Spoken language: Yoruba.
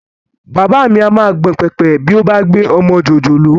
Bàbá mi á máa gbọ̀n pẹ̀pẹ̀ bí ó bá gbé ọmọ jòjòló